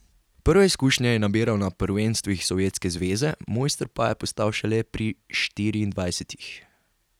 Prve izkušnje je nabiral na prvenstvih sovjetske vojske, mojster pa je postal šele pri štiriindvajsetih.